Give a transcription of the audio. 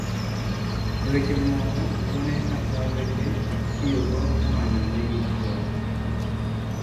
E weche mamoko wuone kata owete itiyo go e manyo nigi chuwo